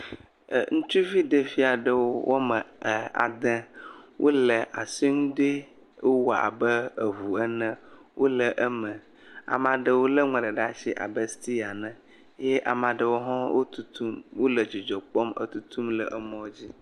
Ŋutsuvi ɖeviwo woame ade wo le asi nu dɔe wɔm abe eʋu ene. Wo le eme, ameaɖewo le nua ɖe asi abe sitiya ene. Eye Ameaɖewo ha wo tutum, wo le dzidzɔ kpɔm, e tutum le mɔa dzi.